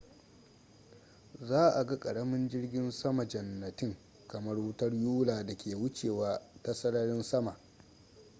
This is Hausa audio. za a ga ƙaramin jirgin sama-jannatin kamar wutar yula da ke wucewa ta sararin sama